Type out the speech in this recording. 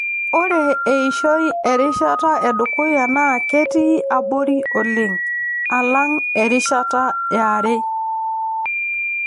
Ore eishoi erishata edukuya naa ketii abori oleng alang erishata yare.